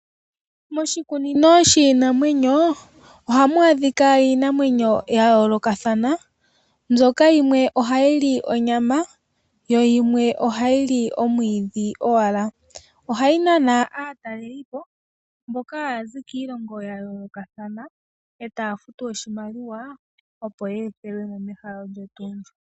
Moshikunino shiinamwenyo ohamu adhika iinamwenyo ya yoolokothana, mbyoka yimwe oha yili onyama yo yimwe oha yili omwiidhi owala. Ohayi nana aatalelipo mboka haya zi kiilongo ya yoolokothana, taya futu oshimaliwa, opo yeethelwemo mehala olyo tuu ndi.